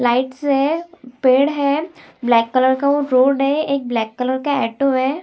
Lights हैं पेड़ है ब्लैक कलर का वो बोर्ड है एक ब्लैक कलर का एटो है ।